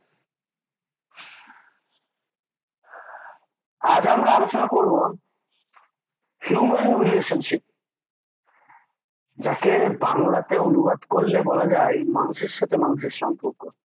আজ আমরা আলোচনা করব human relationship যাকে বাংলাতে অনুবাদ করলে বলা যায় মানুষের সাথে মানুষের সম্পর্ক